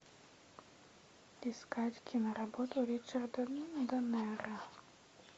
искать киноработу ричарда донера